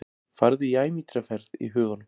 Farðu í ævintýraferð í huganum.